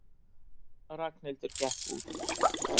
Ragnhildur gekk út.